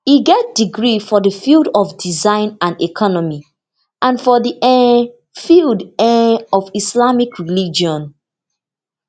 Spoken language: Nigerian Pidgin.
e get degree for di field of design and economy and for di um field um of islamic religion